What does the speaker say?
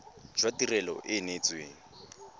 jwa tirelo e e neetsweng